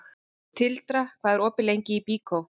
Tildra, hvað er opið lengi í Byko?